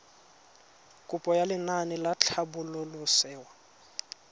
kopo ya lenaane la tlhabololosewa